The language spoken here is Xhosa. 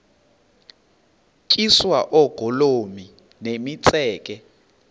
tyiswa oogolomi nemitseke